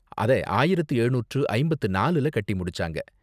அத ஆயிரத்து எழுநூற்று ஐம்பத்து நாலுல கட்டி முடிச்சாங்க.